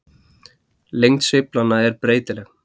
Lengd sveiflanna er breytileg.